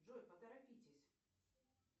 джой поторопитесь